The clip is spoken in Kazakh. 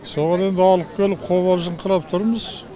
соған енді алып келіп қобалжыңқырап тұрмыз